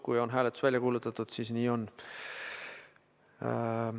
Kui hääletustulemus on välja kuulutatud, siis nii on.